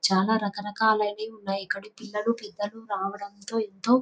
చాలా రకరకాల అయినవి ఉన్నాయి ఇక్కడ పిల్లలు పెద్దలు రావడంతో ఎంతో--